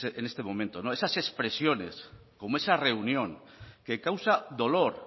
en este momento esas expresiones como esa reunión que causa dolor